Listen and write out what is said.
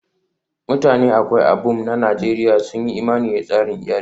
Mutanen Akwa Ibom na Najeriya sun yi imani da tsarin iyali